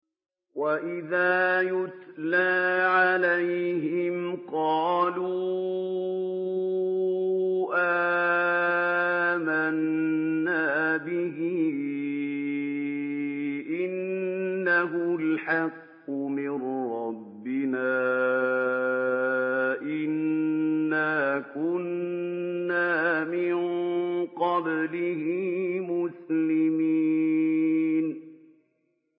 وَإِذَا يُتْلَىٰ عَلَيْهِمْ قَالُوا آمَنَّا بِهِ إِنَّهُ الْحَقُّ مِن رَّبِّنَا إِنَّا كُنَّا مِن قَبْلِهِ مُسْلِمِينَ